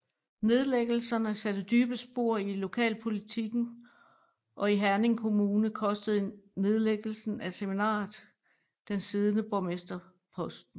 Nedlæggelserne satte dybe spor i lokalpolitikken og i Herning Kommune kostede nedlæggelsen af seminariet den siddende borgmester posten